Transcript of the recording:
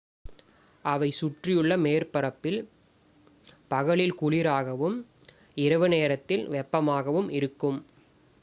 """அவை சுற்றியுள்ள மேற்பரப்பில் பகலில் குளிராகவும் இரவு நேரத்தில் வெப்பமாகவும் இருக்கும்.